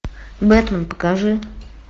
бэтмен покажи